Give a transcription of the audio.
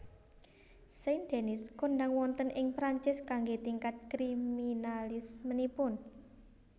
Saint Denis kondhang wonten ing Perancis kanggé tingkat kriminalismenipun